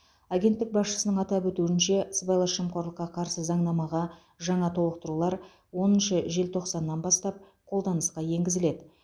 агенттік басшысының атап өтуінше сыбайлас жемқорлыққа қарсы заңнамаға жаңа толықтырулар оныншы желтоқсаннан бастап қолданысқа енгізіледі